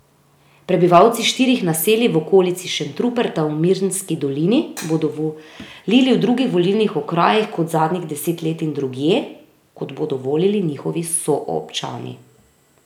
Prebivalci štirih naselij v okolici Šentruperta v Mirnski dolini bodo volili v drugih volilnih okrajih kot zadnjih deset let in drugje, kot bodo volili njihovi soobčani.